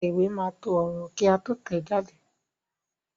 Títẹ̀ ìwé máa to ọ̀rọ̀ kí a tó tẹ̀ẹ́ jáde